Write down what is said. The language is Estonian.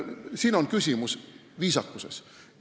See on küsimus viisakusest.